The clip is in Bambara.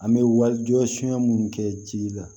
An bɛ walijɔ sonya minnu kɛ ji la